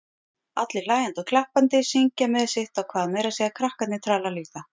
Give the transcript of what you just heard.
Allir hlæjandi og klappandi, syngja með sitt á hvað, meira að segja krakkarnir tralla líka.